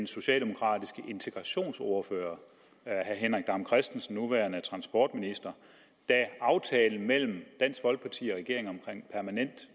socialdemokratiske integrationsordfører nuværende transportminister da aftalen mellem dansk folkeparti og regeringen omkring permanent